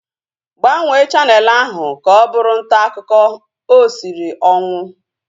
Gbanwee chaneelụ ahu ka ọ bụrụ ntaakụkọ! O siri ọnwụ